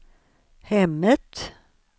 hemmet